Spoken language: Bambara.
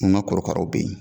Ko n ka korokaraw bɛ yen.